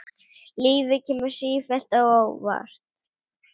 Lífið kemur sífellt á óvart.